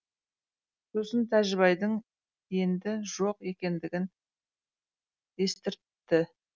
сосын тәжібайдың енді жоқ екендігін естіртті